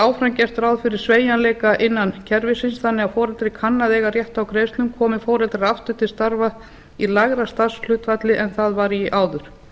áfram gert ráð fyrir sveigjanleika innan kerfisins þannig að foreldri kann að eiga rétt á greiðslum komi foreldrar aftur til starfa í lægra starfshlutfalli en það var í áður